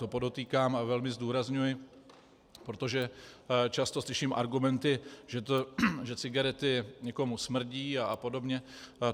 To podotýkám a velmi zdůrazňuji, protože často slyším argumenty, že cigarety někomu smrdí a podobně.